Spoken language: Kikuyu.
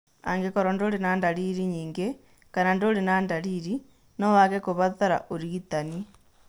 Angĩkorũo ndũrĩ na ndariri nyingĩ, kana ndũrĩ na ndariri, no wage kũbatara ũrigitani.